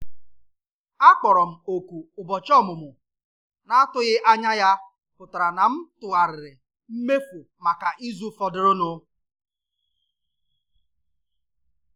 Akpọrọ m òkù ụbọchị ọmụmụ na-atụghị anya ya pụtara na m tụgharịrị mmefu maka izu fọdụrụnụ